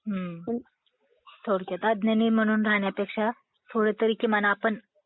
हो. थोडक्यात अज्ञानी म्हणून राहण्यापेक्षा थोडातरी किमान आपण...